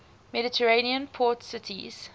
mediterranean port cities